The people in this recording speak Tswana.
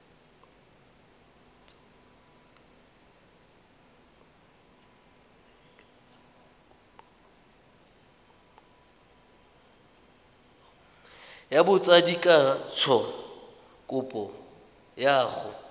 ya botsadikatsho kopo ya go